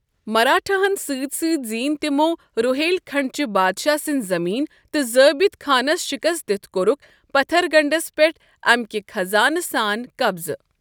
مراٹھاہن سٕتۍ سٕتۍ زینۍ تِمو٘ روہیل كھنڈ چہِ بادشاہ سٕنزِ زمینہٕ تہٕ ضٲبط خانس شِكست دِتھ كورُكھ پتھر گڈھس پیٹھ امِكہِ خزانہٕ سان قبضہٕ ۔